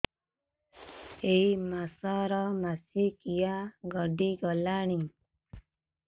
ଏଇ ମାସ ର ମାସିକିଆ ଗଡି ଗଲାଣି